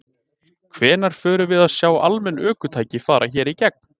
Hvenær förum við að sjá almenn ökutæki fara hér í gegn?